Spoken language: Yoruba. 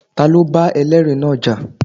Ta ló bá ẹlẹ́ẹ̀rí náà jà?